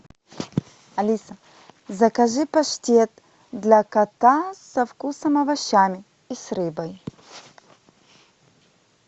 алиса закажи паштет для кота со вкусом овощами и с рыбой